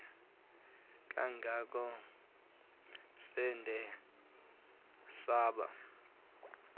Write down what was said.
kangangokuba sade saba